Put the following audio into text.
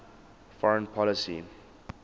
foreign policy